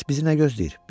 Bəs bizi nə gözləyir?